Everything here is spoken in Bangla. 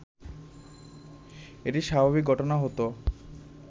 এটি স্বাভাবিক ঘটনা হতো